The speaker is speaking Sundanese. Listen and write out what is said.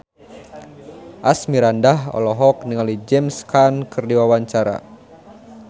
Asmirandah olohok ningali James Caan keur diwawancara